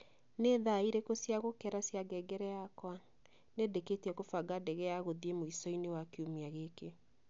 Nĩ thaa irĩkũ cia gukera cia ngengere yakwa ? Nĩndĩkĩtie kũbanga ndege ya gũthiĩ mũico-inĩ wa kiumia giki